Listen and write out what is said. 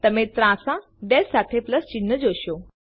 તમે ત્રાંસા ડેશ સાથે પ્લસ ચિહ્ન જોશો